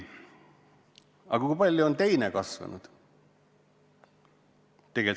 Aga kui palju on kasvanud teine sammas?